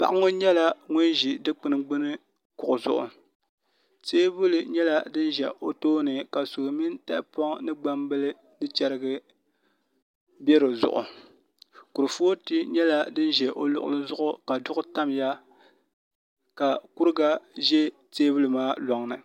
Paɣa ŋo nyɛla ŋun ʒi dikpuni gbumi kuɣu zuɣu teebuli nyɛla din ʒɛ o tooni ka suu mini tahapoŋ ni gbambili ni chɛrigi bɛ dizuɣu kurifooti nyɛla din ʒɛ o luɣuli zuɣu ka duɣu tamya ka kuriga ʒɛ teebuli maa loŋni